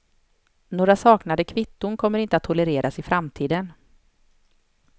Några saknade kvitton kommer inte att tolereras i framtiden.